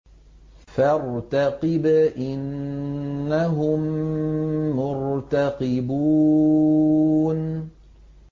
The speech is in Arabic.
فَارْتَقِبْ إِنَّهُم مُّرْتَقِبُونَ